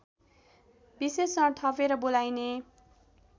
विशेषण थपेर बोलाइने